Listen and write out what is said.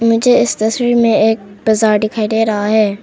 मुझे इस तस्वीर में एक बाजार दिखाई दे रहा है।